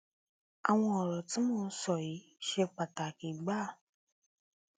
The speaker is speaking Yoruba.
àwọn ọrọ tí mò ń sọ yìí ṣe pàtàkì gbáà